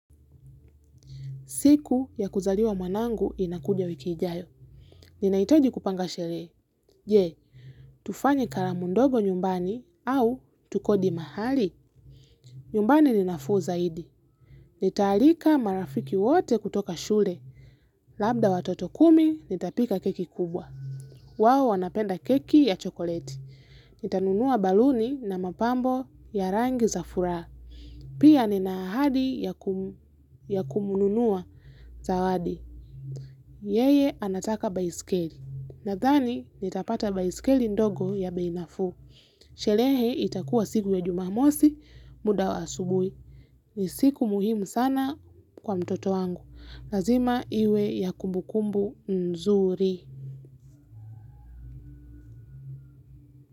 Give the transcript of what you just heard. Siku ya kuzaliwa mwanangu inakuja wiki ijayo. Ninahitaji kupanga sherehe. Je, tufanye kalamu ndogo nyumbani au tukodi mahali. Nyumbani ni nafuu zaidi. Nitaalika marafiki wote kutoka shule. Labda watoto kumi nitapika keki kubwa. Wao wanapenda keki ya chokoleti. Nitanunua baluni na mapambo ya rangi za furaha. Pia ninaahadi ya kumununua zawadi. Yeye anataka baisikeli. Nadhani nitapata baiskeli ndogo ya bei nafuu. Sherehe itakua siku ya jumamosi muda wa asubuhi. Ni siku muhimu sana kwa mtoto wangu. Lazima iwe ya kumbukumbu nzuri.